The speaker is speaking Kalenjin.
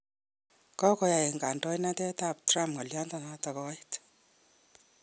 Kokoyai kandoinatet ab Trump ng'alyanoto kouit